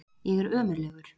Ég er ömurlegur.